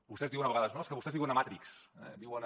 vostès diuen a vegades no és que vostès viuen a matrix eh viuen a